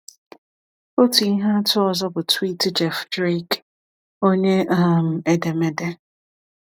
Otu ihe atụ ọzọ bụ tweet Jeff Drake, onye um edemede.